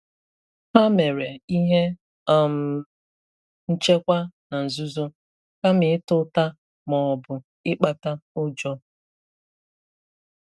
Hà mere ihe um nchekwà na nzuzo, kama ịta ùtà ma ọ̀bụ̀ ịkpàta ụjọ.